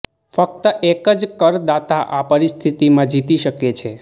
ફક્ત એક જ કરદાતા આ પરિસ્થિતિમાં જીતી શકે છે